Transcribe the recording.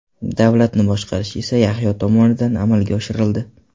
Davlatni boshqarish esa Yahyo tomonidan amalga oshirildi.